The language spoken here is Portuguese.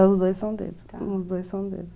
Os dois são deles, os dois são deles.